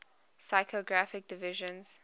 physiographic divisions